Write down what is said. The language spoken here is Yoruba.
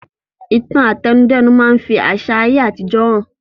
Ìtàn àtẹnudẹ́nu máa fi àsà ayé àtijó hàn